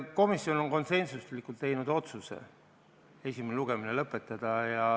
Komisjon on konsensuslikult teinud otsuse esimene lugemine lõpetada.